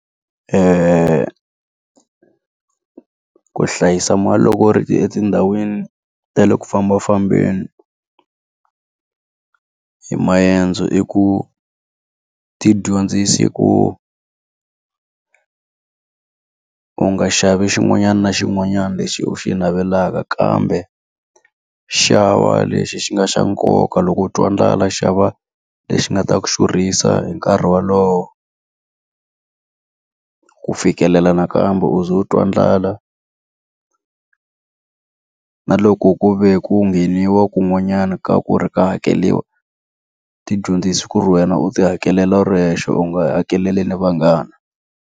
ku hlayisa mali loko ri etindhawini ta le ku fambafambeni hi maendzo i ku, ti dyondzisa ku u nga xavi xin'wanyana na xin'wanyana lexi u xi navelaka kambe xava lexi xi nga xa nkoka. Loko u twa ndlala xava lexi nga ta ku xurhisa hi nkarhi wolowo ku fikelela nakambe u ze u twa ndlala. na loko ku ve ku ngheniwa kun'wanyana ka ku ri ka hakeriwa, ti dyondzisa ku ri wena u ti hakelela u ri wexe u nga hakeleli ni vanghana.